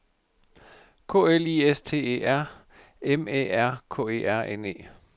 K L I S T E R M Æ R K E R N E